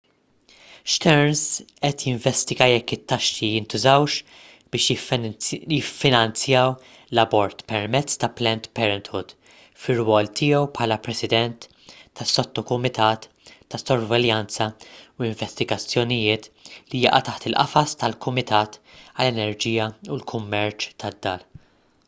stearns qed jinvestiga jekk it-taxxi jintużawx biex jiffinanzjaw l-abort permezz ta' planned parenthood fir-rwol tiegħu bħala president tas-sottokumitat ta' sorveljanza u investigazzjonijiet li jaqa' taħt il-qafas tal-kumitat għall-enerġija u l-kummerċ tad-dar